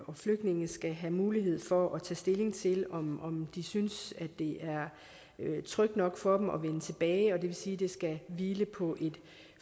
og flygtninge skal have mulighed for at tage stilling til om de synes at det er trygt nok for dem at vende tilbage det vil sige at det skal hvile på et